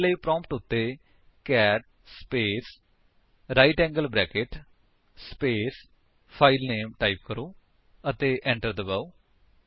ਇਸਦੇ ਲਈ ਪ੍ਰੋਂਪਟ ਉੱਤੇ cat space right angle bracket space filename type ਕਰੋ ਅਤੇ enter ਦਬਾਓ